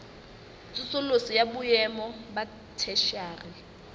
tsosoloso ya boemo ba theshiari